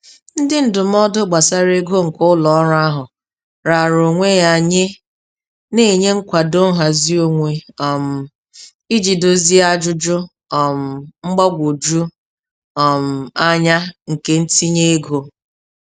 Ndị ndụmọdụ gbasara ego nke ụlọ ọrụ ahụ raara onwe ya nye, na-enye nkwado nhazi onwe um iji dozie ajụjụ um mgbagwoju um anya nke ntinye ego.